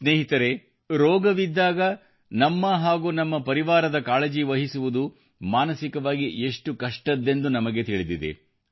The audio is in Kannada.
ಸ್ನೇಹಿತರೆ ರೋಗವಿದ್ದಾಗ ನಮ್ಮ ಹಾಗೂ ನಮ್ಮ ಪರಿವಾರದ ಕಾಳಜಿ ವಹಿಸುವುದು ಮಾನಸಿಕವಾಗಿ ಎಷ್ಟು ಕಷ್ಟದ್ದೆಂದು ನಮಗೆ ತಿಳಿದಿದೆ